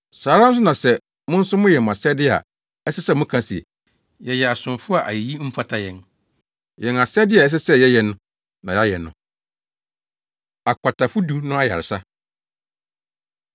Saa ara nso na sɛ mo nso moyɛ mo asɛde a, ɛsɛ sɛ moka se, ‘Yɛyɛ asomfo a ayeyi mfata yɛn; yɛn asɛde a ɛsɛ sɛ yɛyɛ na yɛayɛ no.’ ” Akwatafo Du No Ayaresa